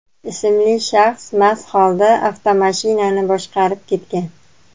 ismli shaxs mast holda avtomashinani boshqarib ketgan.